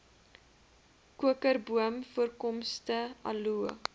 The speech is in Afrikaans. kokerboom voorkomste aloe